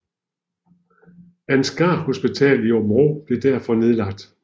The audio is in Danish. Ansgar Hospital i Aabenraa blev derfor nedlagt